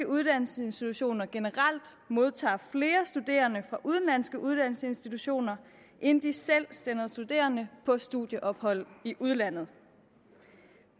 uddannelsesinstitutioner generelt modtager flere studerende fra udenlandske uddannelsesinstitutioner end de selv sender studerende på studieophold i udlandet